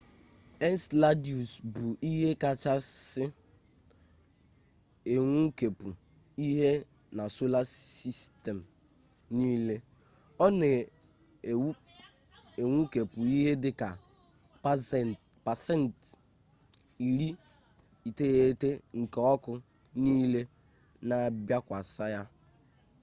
enseladus bụ ihe kachasị enwukepụ ihe na sola sistem niile ọ na-enwukepụ ihe dị ka pasent 90 nke ọkụ niile na-abịakwasa ya